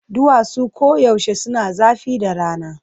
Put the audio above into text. Duwatsu koyaushe suna zafi da rana.